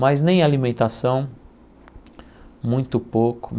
Mas nem alimentação, muito pouco.